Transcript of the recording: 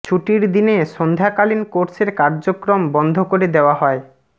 ছুটির দিনে সন্ধ্যাকালীন কোর্সের কার্যক্রম বন্ধ করে দেওয়া হয়